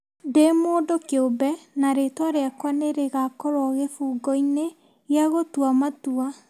Ndĩ mũndũ kĩũmbe na rĩĩtwa rĩakwa nĩ rĩgakorũo kĩbungo-inĩ gĩa gũtua matua.